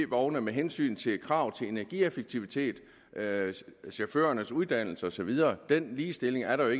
ep vogne med hensyn til krav til energieffektivitet chaufførernes uddannelse og så videre den ligestilling er der